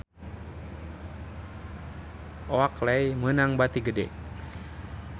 Oakley meunang bati gede